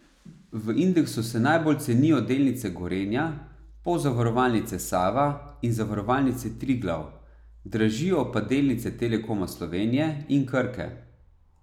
V indeksu se najbolj cenijo delnice Gorenja, Pozavarovalnice Sava in Zavarovalnice Triglav, dražijo pa delnice Telekoma Slovenije in Krke.